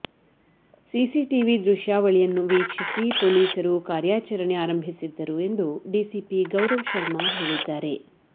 CCTV ದೃಶ್ಯಾವಳಿಯನ್ನು ವೀಕ್ಷಿಸಿ ಪೊಲೀಸರು ಕಾರ್ಯಾಚರಣೆ ಆರಂಭಿಸಿದ್ದರು ಎಂದು ಡಿಸಿಪಿ ಗೌರವ್ ಶರ್ಮಾ ಹೇಳಿದ್ದಾರೆ